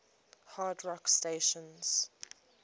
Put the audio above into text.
hard rock stations